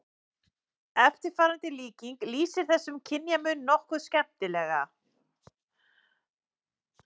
Eftirfarandi líking lýsir þessum kynjamun nokkuð skemmtilega